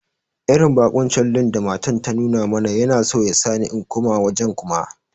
Irin bakunci lin da matan ta nuna mana Yana so yasani in koma wajen Kuma.